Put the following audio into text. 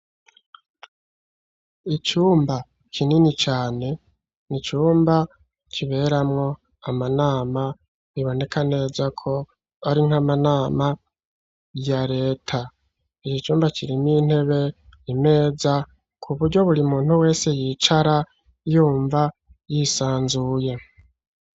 Icumba kinini cane, ni icumba kiberamwo amanama, biboneka neza ko ari nk'amanama ya leta; iki cumba kirimwo intebe, imeza ku buryo buri muntu wese, yicara yumva yisanzuye.